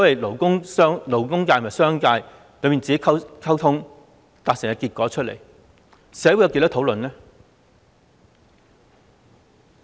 勞工界和商界閉門溝通，達成結果，但社會有多少討論呢？